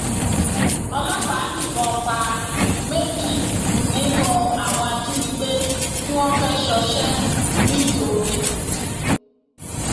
ọlọpàá yìnbọn pa méjì nínú àwọn ajínigbé tí wọn fẹẹ ṣọṣẹ ńìtorí